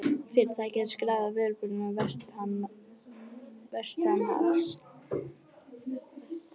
Fyrirtækið er skráð á verðbréfamarkaði vestanhafs